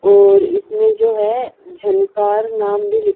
और इसमें जो है झंकार नाम भी लि--